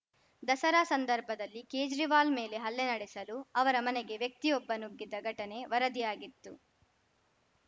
ದಸರಾ ಸಂದರ್ಭದಲ್ಲಿ ಕೇಜ್ರಿವಾಲ್‌ ಮೇಲೆ ಹಲ್ಲೆ ನಡೆಸಲು ಅವರ ಮನೆಗೆ ವ್ಯಕ್ತಿಯೊಬ್ಬ ನುಗ್ಗಿದ್ದ ಘಟನೆ ವರದಿಯಾಗಿತ್ತು